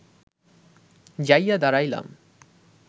যাইয়া দাঁড়াইলাম